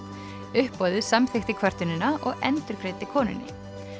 uppboðið samþykkti kvörtunina og endurgreiddi konunni